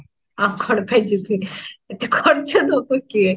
ଆଉ କଣ ପାଇଁ ଯିବି ଏତେ ଖର୍ଚ୍ଚ ଦାବି କିଏ?